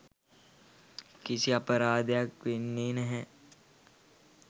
කිසි අපරාදයක් වෙන්නේ නැහැ